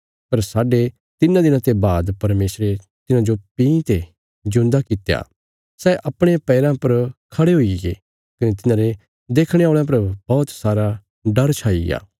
पर साढे तिन्नां दिनां ते बाद परमेशरे तिन्हांजो भीं ते जिऊंदा कित्या सै अपणे पैराँ पर खड़े हुईगे कने तिन्हांरे देखणे औल़यां पर बौहत सारा डर छाईग्या